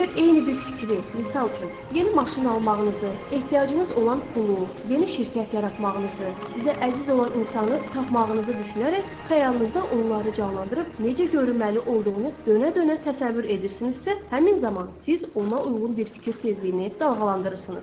Əgər eyni bir fikri, misal üçün yeni maşın almağınızı, ehtiyacınız olan pulu, yeni şirkət yaratmağınızı, sizə əziz olan insanı tapmağınızı düşünərək xəyalınızda onları canlandırıb necə görünməli olduğunu dönə-dönə təsəvvür edirsinizsə, həmin zaman siz ona uyğun bir fikir tezliyini dalğalandırırsınız.